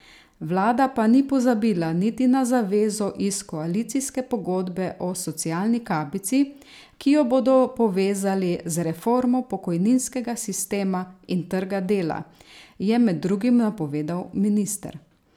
Vlada pa ni pozabila niti na zavezo iz koalicijske pogodbe o socialni kapici, ki jo bodo povezali z reformo pokojninskega sistema in trga dela, je med drugim napovedal minister.